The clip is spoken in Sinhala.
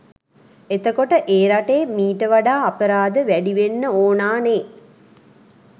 එතකොට ඒ රටේ මීට වඩා අපරාධ වැඩි වෙන්න ඕනා නේ